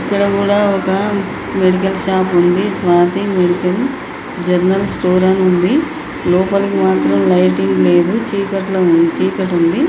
ఇక్కడ కూడా ఒక మెడికల్ షాప్ ఉంది. స్వాతి మెడికల్ జనరల్ స్టోర్ అని ఉంది. లోపలికి మాత్రం లైటింగ్ లేదు చీకట్లో ఉంది చీకటి ఉంది.